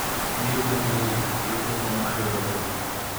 an iluonga ni Neli ,jalup jakom mar riwruogni